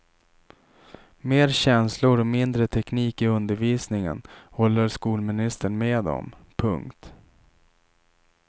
Mer känslor och mindre teknik i undervisningen håller skolministern med om. punkt